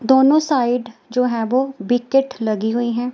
दोनों साइड जो हैं वो विकेट लगी हुई है।